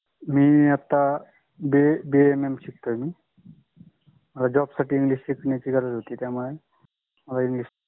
मी आता B. A. M. M शिकतोय job साठ english शिकन्याची गरच होती च्या मुळे